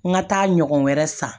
N ka taa ɲɔgɔn wɛrɛ san